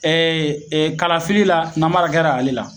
Ɛ ɛ kalafili la namara kɛra ale la